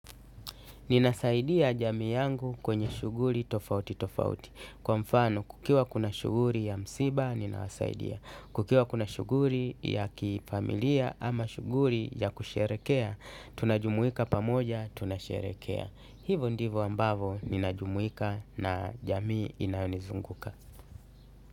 Ninasaidia jamii yangu kwenye shughuli tofauti tofauti kwa mfano kukiwa kuna shughuli ya msiba ninasaidia. Kukiwa kuna shughuli ya kifamilia ama shughuli ya kusherehekea tunajumuika pamoja tunasherekea. Hivo ndivo ambavo ninajumuika na jamii inayonizunguka.